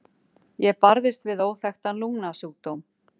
Ég barðist við óþekktan lungnasjúkdóm.